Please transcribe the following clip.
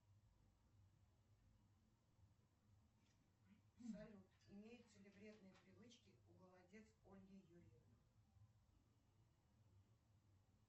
салют имеются ли вредные привычки у голодец ольги юрьевны